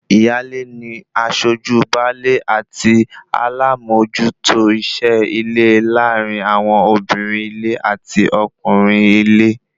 Ìyáálé ni aṣojú baálé àti alámòójútó iṣẹ́ ilé láàrin àwọn obìnrin-ilé àti ọkùnrin-ile